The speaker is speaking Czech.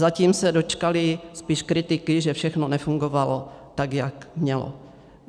Zatím se dočkaly spíš kritiky, že všechno nefungovalo tak, jak mělo.